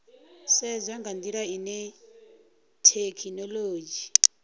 sedzwa nga ndila ine thekhinolodzhi